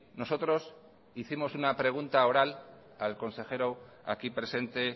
nosotros hicimos una pregunta oral al consejero aquí presente